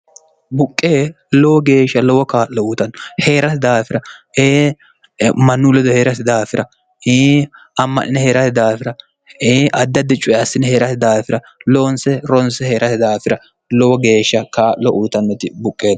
buqqe lowo geeshsha lowo kaa'lo utanno hee'rasi daafira ee mannu ledo he'rasi daafira ii amma'nine hee'rasi daafira e addaddi cuye assini hee'rsi daafira loonse ronse hee'rasi daafira lowo geeshsha kaa'lo urutannoti buqqeeno